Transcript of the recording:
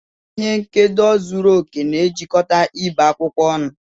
Ihe nkedo zuru oke na-ejikọta ibe akwụkwọ ọnụ.